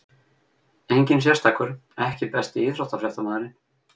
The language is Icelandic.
Enginn sérstakur EKKI besti íþróttafréttamaðurinn?